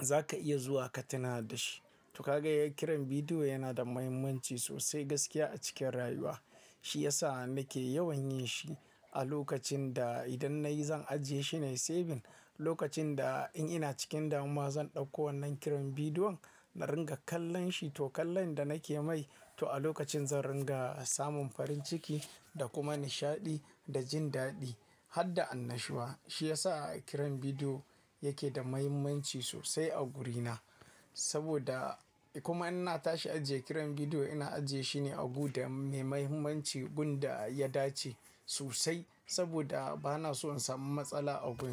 za ka iya zuwa ka tuna da shi. To ka gan kiran bidiyo yana da mahimmanci sosai gaskiya a cikin rayuwa. Shi ya sa nake yawan yin shi a lokacin da idan na yi zan ajiye shi na yi saving. Lokacin da in ina cikin damuwa zan ɗauko wannan kiran bidiyon na ringa kallon shi to kallon da nake mai to a lokacin zan ringa samun farin ciki da kuma nishaɗi da jin daɗi har da annashuwa. Shi ya sa kiran bidiyo yake da mahimmanci sosai a guri na saboda kuma ina tashi ajiye kiran bidiyo ina ajiye shi ne a abu da mai mahimmanci wanda ya dace sosai saboda ba na so in samu matsala a guri na.